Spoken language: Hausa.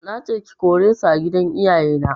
Nace ka/ke kore su a gidan iyaye na